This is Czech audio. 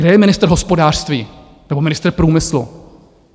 Kde je ministr hospodářství nebo ministr průmyslu?